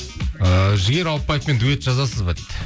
і жігер ауыпбаевпен дуэт жазасыз ба дейді